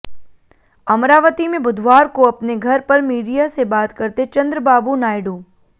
अमरावती में बुधवार को अपने घर पर मीडिया से बात करते चंद्रबाबू नायडू